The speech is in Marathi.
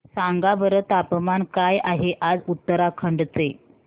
सांगा बरं तापमान काय आहे आज उत्तराखंड चे